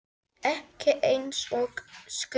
Ekki eins og skuggi.